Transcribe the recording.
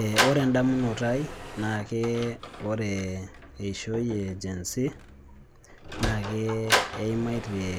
Eeh Ore edamunoto aai naa ake ore eishoi ee gen zii naake eimaitie